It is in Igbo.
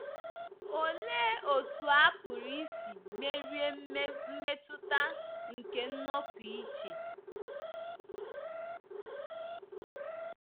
Olee otú a pụrụ isi merie mmetụta nke nnọpụ iche?